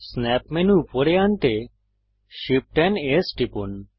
snap menu উপরে আনতে Shift AMP S টিপুন